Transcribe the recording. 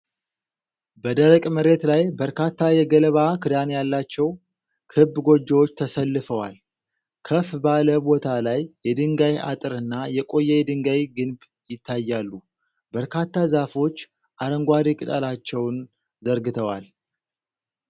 በደረቅ መሬት ላይ በርካታ የገለባ ክዳን ያላቸው ክብ ጎጆዎች ተሰልፈዋል። ከፍ ባለ ቦታ ላይ የድንጋይ አጥርና የቆየ የድንጋይ ግንብ ይታያሉ። በርካታ ዛፎች አረንጓዴ ቅጠላቸውን ዘርግተዋል።